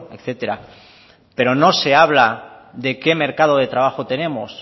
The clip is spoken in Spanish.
etcétera pero no se habla de qué mercado de trabajo tenemos